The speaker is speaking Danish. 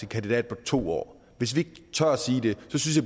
kandidat på to år så bliver